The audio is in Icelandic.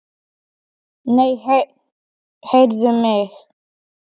Í rauða bílnum hjá þér.